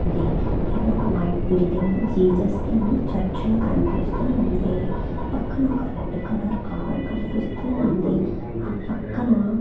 ఉంది ఇక్కడొక white building Jesus దని చర్చ్ లా కనిపిస్తూ ఉంది పక్కన ఒక రెడ్ కలర్ కారు కనిపిస్తూ ఉంది ఆ పక్కనా--